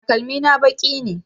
Takalmi na baƙi ne